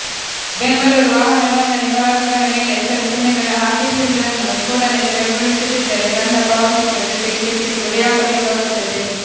ಬೆಂಗಳೂರು ವಾಹನ ನೋಂದಣಿ ಫಲಕಗಳ ಮೇಲೆ ಹೆಸರು ಚಿಹ್ನೆಗಳನ್ನು ಹಾಕಿಸಿರುವುದನ್ನು ಕೂಡಲೇ ತೆರವುಗೊಳಿಸದಿದ್ದರೆ ದಂಡ ಪಾವತಿಸುವ ಜೊತೆಗೆ ಶಿಕ್ಷೆಗೆ ಗುರಿಯಾಗಬೇಕಾಗುತ್ತದೆ